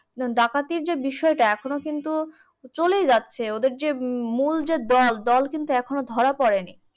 ডাকাতির যে বিষয়টা এখনো কিন্তু চলেই যাচ্ছে। ওদের যে মূল যে দল দল কিন্তু এখনও ধরা পরে নি।